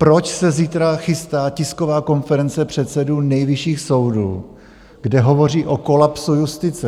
Proč se zítra chystá tisková konference předsedů nejvyšších soudů, kde hovoří o kolapsu justice?